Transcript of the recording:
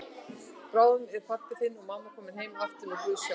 Bráðum eru pabbi þinn og mamma komin heim aftur með Guðs hjálp.